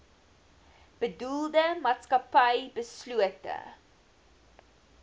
bedoelde maatskappy beslote